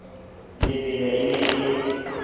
lebelwe e ne e le